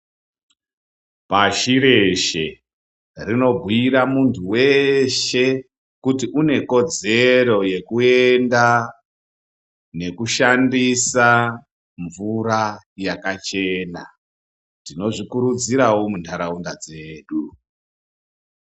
Pashi reshe rinobhuira muntu weshe kuti unekodzero yekuenda nekushandisa mvura yakachena. Tinozvikuridzirawo munharaunda dzedu.